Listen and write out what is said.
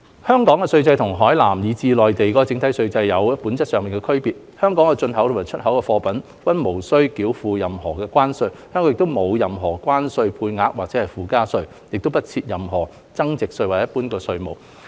香港的稅制與海南以至內地整體稅制有着本質上的區別，香港的進口及出口貨物均無須繳付任何關稅，香港亦無任何關稅配額或附加稅，亦不設任何增值稅或一般服務稅。